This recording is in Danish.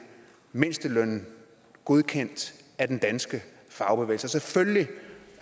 mindstelønnen godkendt af den danske fagbevægelse selvfølgelig